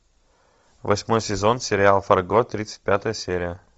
восьмой сезон сериал фарго тридцать пятая серия